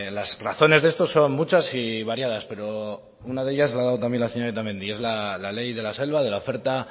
las razones de esto son muchas y variadas pero una de ellas la ha dado también la señora otamendi es la ley de la selva de la oferta